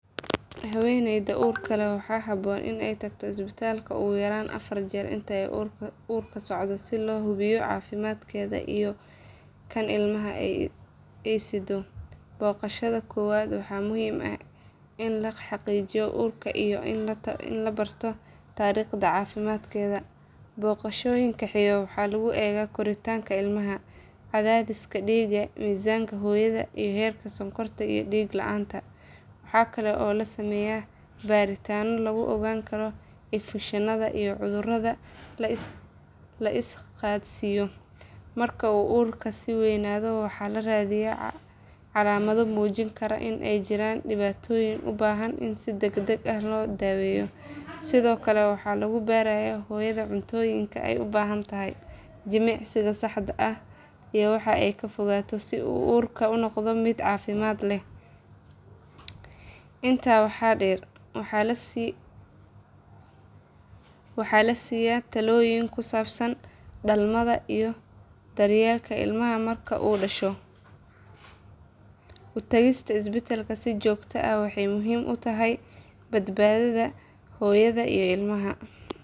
Haweeneyda uurka leh waxaa habboon in ay tagto isbitaalka ugu yaraan afar jeer inta uu uurku socdo si loo hubiyo caafimaadkeeda iyo kan ilmaha ay sideyso. Booqashada koowaad waxay muhiim u tahay in la xaqiijiyo uurka iyo in la barto taariikhda caafimaadkeeda. Booqashooyinka xiga waxaa lagu eegaa koritaanka ilmaha, cadaadiska dhiigga, miisaanka hooyada, iyo heerka sonkorta iyo dhiig la’aanta. Waxaa kale oo la sameeyaa baaritaanno lagu ogaanayo infekshanada iyo cudurrada la is qaadsiiyo. Marka uu uurku sii waynaado waxaa la raadiyaa calaamado muujin kara in ay jiraan dhibaatooyin u baahan in si degdeg ah loo daweeyo. Sidoo kale waxaa lagu barayaa hooyada cuntooyinka ay u baahan tahay, jimicsiga saxda ah, iyo waxa ay ka fogaato si uurku u noqdo mid caafimaad leh. Intaa waxaa dheer waxaa la siiyaan talooyin ku saabsan dhalmada iyo daryeelka ilmaha marka uu dhasho. U tagista isbitaalka si joogto ah waxay muhiim u tahay badbaadada hooyada iyo ilmaha.